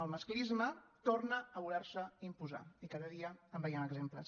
el masclisme torna a voler se imposar i cada dia en veiem exemples